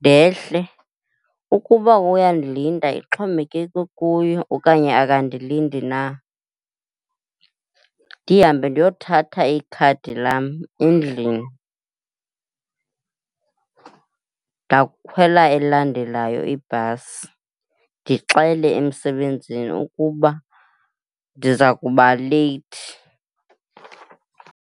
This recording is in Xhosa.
ndehle. Ukuba uyandilinda ixhomekeke kuye okanye akandilindi na. Ndihambe ndiyothatha ikhadi lam endlini, ndawukhwela elandelayo ibhasi. Ndixele emsebenzini ukuba ndiza kuba leyithi.